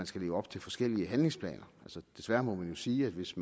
skal leve op til forskellige handlingsplaner desværre må man sige at hvis